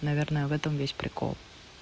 наверное в этом весь прикол